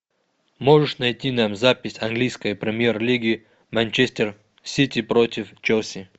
можешь найти нам запись английской премьер лиги манчестер сити против челси